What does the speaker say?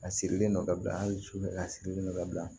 A sirilen don ka bila an susulen a sirilen don ka bila